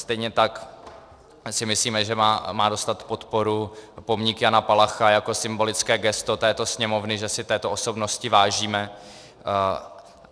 Stejně tak si myslíme, že má dostat podporu pomník Jana Palacha jako symbolické gesto této Sněmovny, že si této osobnosti vážíme.